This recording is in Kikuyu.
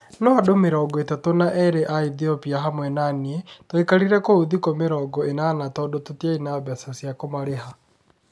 No andũ mĩrongo ĩtatũ na eri a Ethiopia, hamwe na niĩ, twaikarire kũu thikũ mĩrongo ĩnana tondũ tũtiarĩ na mbeca cia kũmarĩha.